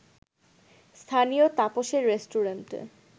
স্থানীয় তাপসের রেস্টুরেন্টে